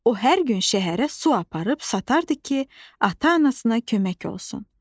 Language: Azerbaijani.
O hər gün şəhərə su aparıb satardı ki, ata-anasına kömək olsun.